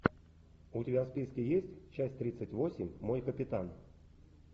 у тебя в списке есть часть тридцать восемь мой капитан